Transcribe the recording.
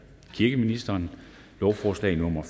kirkeministeren lovforslag nummer